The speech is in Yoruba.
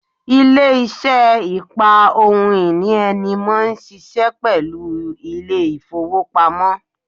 Ilé isé ìpa ohun ìní ẹni mó n síse pẹ̀lú Ilé-ìfowópamọ́